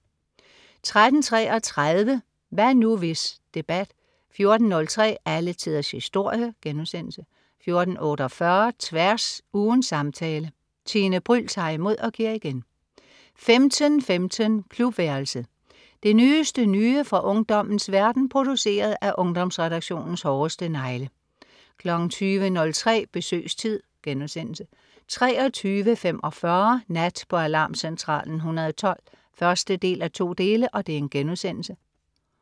13.33 Hvad nu, hvis? Debat 14.03 Alle tiders historie* 14.48 Tværs. Ugens samtale. Tine Bryld tager imod og giver igen 15.15 Klubværelset. Det nyeste nye fra ungdommens verden, produceret af Ungdomsredaktionens hårdeste negle 20.03 Besøgstid* 23.45 Nat på Alarmcentralen 112 1:2*